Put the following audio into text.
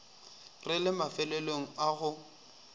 re le mafelong a go